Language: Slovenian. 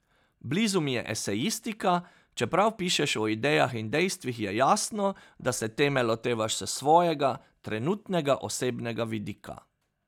Blizu mi je esejistika, čeprav pišeš o idejah in dejstvih, je jasno, da se teme lotevaš s svojega, trenutnega osebnega vidika.